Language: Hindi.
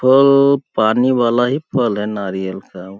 फल पानी वाला ही फल है नारियल का --